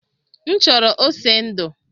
M chọrọ ose ndu